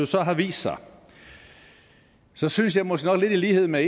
så har vist sig så synes jeg måske nok i lighed med